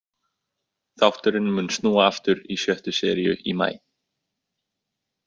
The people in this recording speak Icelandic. Þátturinn mun snúa aftur í sjöttu seríu í maí.